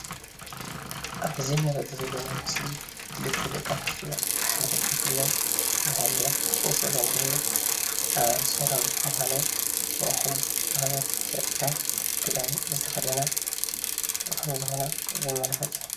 ኣብዚ እንሪኦ ዘለና ምስሊ ክልተ ደቂ ኣነስትዮ ብሓደ ከፍ ኢለን እንደሃለዋ ምስ ዝምድና ኣባል ሰራዊት ምኳነን ናይ ሕጊ መክበርቲ ፀጥታ ክዳን ዝተከደና ከም ዝኮና ዘመላክት እዩ፡፡